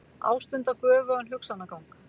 Ástunda göfugan hugsanagang.